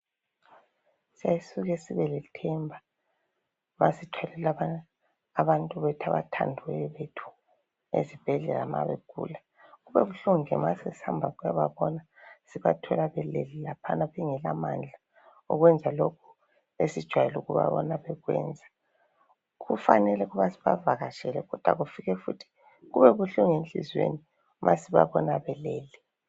siyasisuke sibe lethemba masithwalela abathandiweyo bethu esibhedlela nxa begula kubabuhlungu nje masesihamba ukuyababona sibathola belele laphayana bengelamandla okwenza lokhu esijwayele ukubabona bekwenza kufanele ukuba sibavakatshele kube futhi buhlungu enhlizweni ma sibabona belele